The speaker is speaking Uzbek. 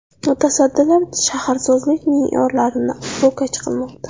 Mutasaddilar shaharsozlik me’yorlarini ro‘kach qilmoqda.